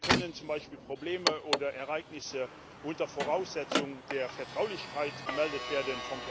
Hier können zum Beispiel vom Personal Probleme oder Ereignisse unter Voraussetzung der Vertraulichkeit gemeldet werden.